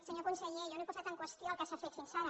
senyor conseller jo no he posat en qüestió el que s’ha fet fins ara